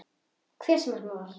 Hver sem hann var.